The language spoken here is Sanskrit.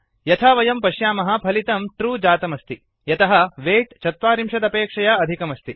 यथा वयं पश्यामः फलितम् ट्रू ट्रू जातमस्ति यतः वेय्ट् ४० अपेक्षया अधिकम् अस्ति